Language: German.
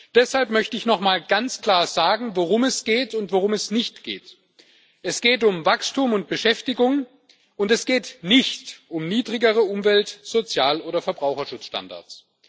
Deshalb möchte ich noch einmal ganz klar sagen, worum es geht und worum es nicht geht Es geht um Wachstum und Beschäftigung und es geht nicht um niedrigere Umwelt Sozial oder Verbraucherschutzstandards.